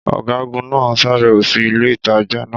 Ọgagun naa ṣabẹwo si ile-itaja naa